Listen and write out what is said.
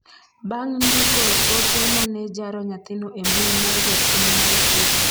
bang' ndiko ote mane jaro nyathino e mbui mar jopiny Mar twitter